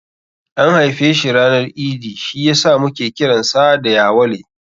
An haife shi ranar Idi, shi yasa muke kiransa da Yawale.